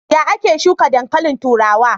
Ya ake shuka dankalin turawa?